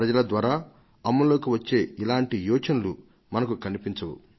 ప్రజల ద్వారా అమల్లోకి వచ్చే ఇలాంటి యోచనలు మనకు కనిపించవు